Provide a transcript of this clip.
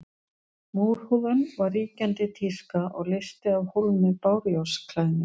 Múrhúðun var ríkjandi tíska og leysti af hólmi bárujárnsklæðningu.